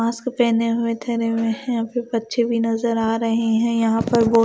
mask पेहने हुए ठहरे हुए हैं अभी बच्चे भी नजर आ रहे हैं यहां पर बहु--